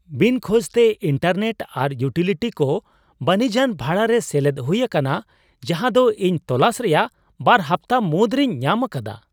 ᱵᱤᱱ ᱠᱷᱚᱡᱽᱛᱮ, ᱤᱱᱴᱟᱨᱱᱮᱴ ᱟᱨ ᱤᱭᱩᱴᱤᱞᱤᱴᱭ ᱠᱚ ᱵᱟᱹᱱᱤᱡᱟᱱ ᱵᱷᱟᱲᱟᱨᱮ ᱥᱮᱞᱮᱫ ᱦᱩᱭ ᱟᱠᱟᱱᱟ ᱡᱟᱸᱦᱟ ᱫᱚ ᱤᱧ ᱛᱳᱞᱟᱥ ᱨᱮᱭᱟᱜ ᱵᱟᱨ ᱦᱟᱯᱛᱟ ᱢᱩᱫᱽᱨᱮᱧ ᱧᱟᱢ ᱟᱠᱟᱫᱟ ᱾